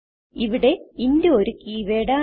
ഇവിടെ ഇന്റ് ഒരു keyword ആണ്